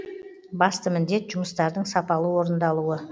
басты міндет жұмыстардың сапалы орындалуы